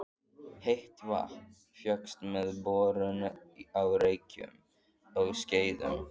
Heitt vatn fékkst með borun á Reykjum á Skeiðum.